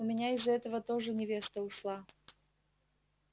у меня из-за этого тоже невеста ушла